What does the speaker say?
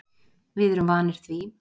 Við erum vanir því